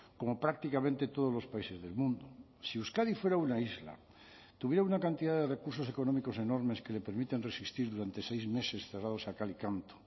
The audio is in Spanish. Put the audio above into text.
como prácticamente todos los países del mundo si euskadi fuera una isla tuviera una cantidad de recursos económicos enormes que le permiten resistir durante seis meses cerrados a cal y canto